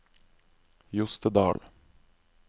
Jostedal